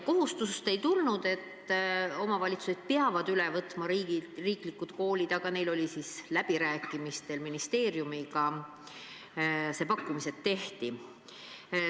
Kohustust ei tulnud, et omavalitsused peavad riigilt üle võtma riiklikud koolid, aga läbirääkimistel ministeeriumiga pakkumised tehti.